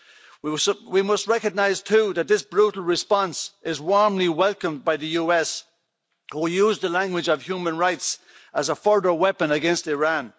We must recognise, too, that this brutal response is warmly welcomed by the US, who use the language of human rights as a further weapon against Iran.